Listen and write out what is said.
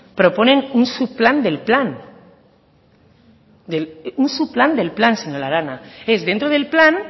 proponen un subplan del plan un subplan del plan señora arana es dentro del plan